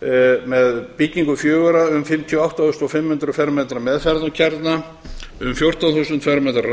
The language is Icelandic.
og forhönnun bygginganna fjögurra um fimmtíu og átta þúsund fimm hundruð fermetra meðferðarkjarna um fjórtán þúsund fermetra